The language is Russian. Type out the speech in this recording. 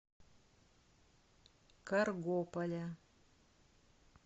каргополя